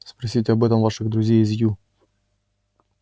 спросите об этом ваших друзей из ю